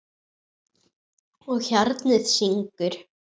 Og hjarnið syngur.